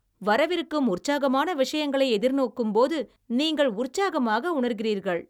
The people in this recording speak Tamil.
வரவிருக்கும் உற்சாகமான விஷயங்களை எதிர்நோக்கும்போது நீங்கள் உற்சாகமாக உணர்கிறீர்கள்